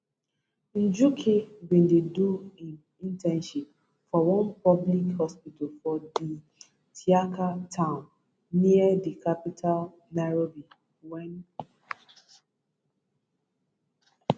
njuki bin dey do im internship for one public hospital for di thiaka town near di capital nairobi wen